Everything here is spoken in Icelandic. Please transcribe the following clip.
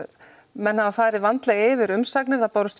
menn hafa farið vandlega yfir umsagnir það bárust